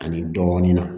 Ani dɔɔnin na